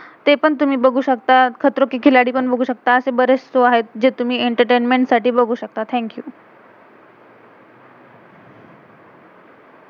ते पण तुम्ही बघू शकता, खतरों के खिलाडी पण बघू शकता, आशेच बरेच शो show आहेत, जे तुम्ही एंटरतेंमेंट entertainment साठी बघू शकता. Thank you thank-you.